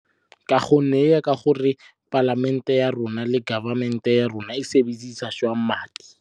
Ka gonne e ya ka gore palamente ya rona le government-e ya rona e sebedisa jang madi.